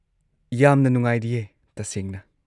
ꯌꯥꯝꯅ ꯅꯨꯡꯉꯥꯏꯔꯤꯌꯦ, ꯇꯁꯦꯡꯅ꯫